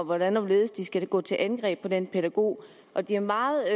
hvordan og hvorledes de skal gå til angreb på den pædagog og de er meget